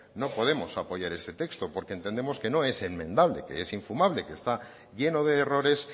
no podemos apoyar este testo porque entendemos que no es enmendable que es infumable que está lleno de errores